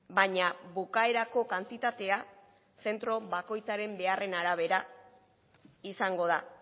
baina bukaerako kantitatea zentro bakoitzaren beharren arabera izango da